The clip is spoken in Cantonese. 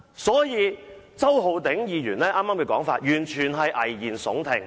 所以，周浩鼎議員剛才的說法完全是危言聳聽。